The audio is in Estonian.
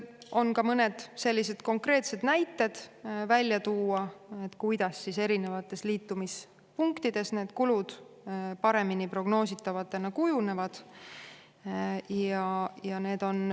On ka mõned konkreetsed näited, kuidas eri liitumispunktides need kulud paremini prognoositavatena kujunevad.